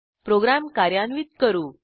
program कार्यान्वित करू